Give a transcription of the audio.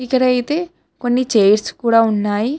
ఇక్కడ అయితే కొన్ని చైర్స్ కూడా ఉన్నాయి.